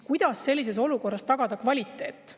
Kuidas sellises olukorras tagada kvaliteet?